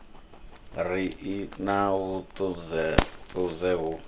ri i na vhuṱudzeṱudze hu